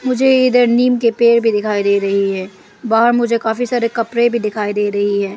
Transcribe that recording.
मुझे इधर नीम के पेड़ भी दिखाई दे रही है बाहर मुझे काफी सारे कपड़े भी दिखाई दे रही है।